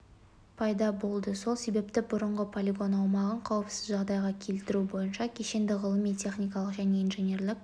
пайда болды сол себепті бұрынғы полигон аумағын қауіпсіз жағдайға келтіру бойынша кешенді ғылыми-техникалық және инженерлік